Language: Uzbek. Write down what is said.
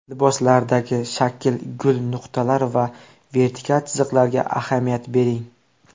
Liboslardagi shakl, gul, nuqtalar va vertikal chiziqlarga ahamiyat bering.